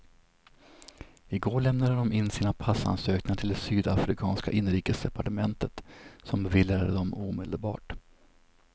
I går lämnade de in sina passansökningar till det sydafrikanska inrikesdepartementet, som beviljade dem omedelbart.